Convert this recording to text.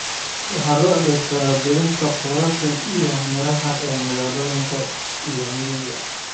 Waxa loo adeegsadaa beerista khudaarta iyo miraha ee magaalooyinka iyo miyiga.